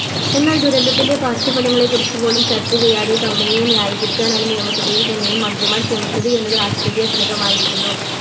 എന്നാൽ ദുരന്തത്തിൻറെ പാർശ്വഫലങ്ങളെക്കുറിച്ച് പോലും ചർച്ച ചെയ്യാതെ Company യെ ന്യായികരിക്കാനാണ് നിയമസഭയിൽ തന്നെയും മന്ത്രിമാർ ശ്രമിച്ചത് എന്നത് ആശ്ചര്യ ജനകമായിരിക്കുന്നു